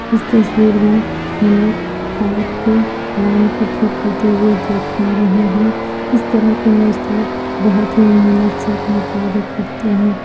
इस तस्वीर में हम एक पाइप के लाइन को ठीक होते हुए देख पा रहें हैं इस तरह के मजदूर बहुत ही मेहनत से अपना कार्य करते हैं।